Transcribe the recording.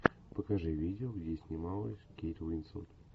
покажи видео где снималась кейт уинслет